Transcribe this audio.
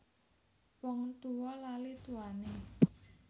Wong tuwa lali tuwane